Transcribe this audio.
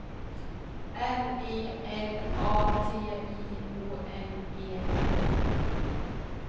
R E L A T I O N E R